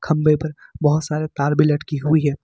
खंभे पर बहोत सारे तार भी लड़की हुई है।